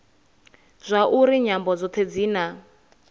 zwauri nyambo dzothe dzi na